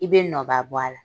I bɛ nɔ ba bɔ a la.